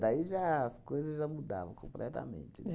Daí já as coisas já mudavam completamente.